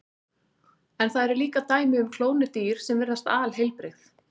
En það eru líka dæmi um klónuð dýr sem virðast alheilbrigð.